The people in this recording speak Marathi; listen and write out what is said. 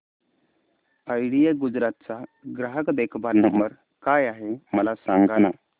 आयडिया गुजरात चा ग्राहक देखभाल नंबर काय आहे मला सांगाना